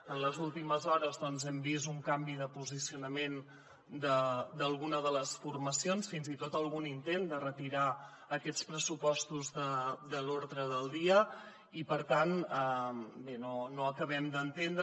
en les últimes hores doncs hem vist un canvi de posicionament d’alguna de les formacions fins i tot algun intent de retirar aquests pressupostos de l’ordre del dia i per tant bé no ho acabem d’entendre